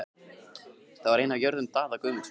Það var ein af jörðum Daða Guðmundssonar.